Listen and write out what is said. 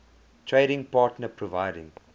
trading partner providing